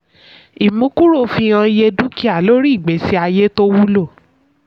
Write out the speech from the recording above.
ìmúkúrò fi hàn iye dúkìá lórí ìgbésí ayé tó wúlò.